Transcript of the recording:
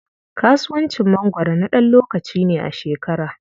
Kasuwacin mangwaro na ɗan lokaci ne a shekara.